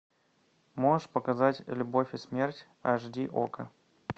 можешь показать любовь и смерть аш ди окко